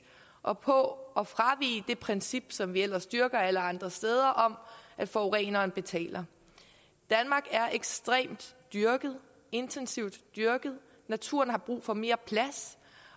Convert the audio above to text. og på at fravige det princip som vi ellers dyrker alle andre steder om at forureneren betaler danmark er ekstremt dyrket intensivt dyrket naturen har brug for mere plads